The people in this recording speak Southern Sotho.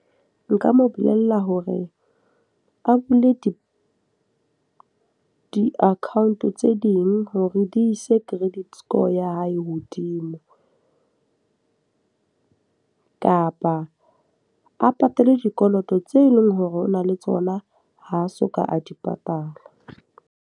Nka mo bolella hore a bule di di-account tse ding hore di ise credit score ya hae hodimo. Kapa a patale dikoloto tse leng hore o na le tsona ha soka a di patala.